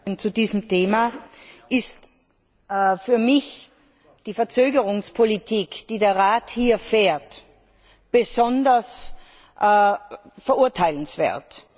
Herr Präsident! Zu diesem Thema ist für mich die Verzögerungspolitik, die der Rat hier fährt, besonders verurteilenswert.